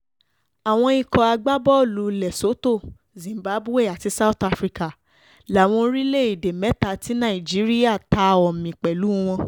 àwọn ikọ̀ agbábọ́ọ̀lù lesotho zimbabwe àti south africa láwọn orílẹ̀‐èdè mẹ́ta tí nàìjíríà ta omi pẹ̀lú wọn